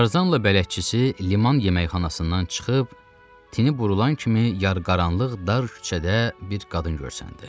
Tarzanla bələdçisi liman yeməkxanasından çıxıb tini burulan kimi yar-qaranlıq dar küçədə bir qadın görsəndi.